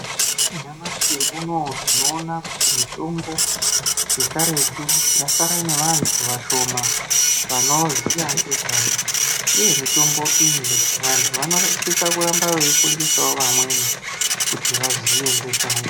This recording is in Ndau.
Nyamashi unowu tinoona kuti mutombo yekaretu yasara nevantu vashoma vanoziya ngezvayo uye mutombo iyi vantu vanoresisa kuramba veifundisawo vamweni kuti vaziye ngezvayo.